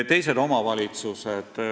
Teised omavalitsused.